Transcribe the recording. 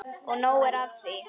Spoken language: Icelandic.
Og nóg er af því.